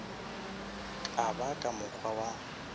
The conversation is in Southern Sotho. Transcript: ka ba ka mokgwa wa